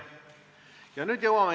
Läheme päevakorraga edasi.